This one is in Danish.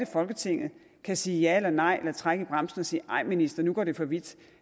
folketinget kan sige ja eller nej eller trække i bremsen og sige nej minister nu går det for vidt